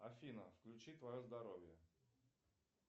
афина включи твое здоровье